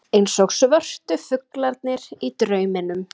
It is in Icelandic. Eins og svörtu fuglarnir í drauminum.